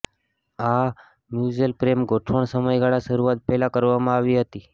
આ મ્યુચ્યુઅલ પ્રેમ ગોઠવણ સમયગાળા શરૂઆત પહેલા કરવામાં આવી હતી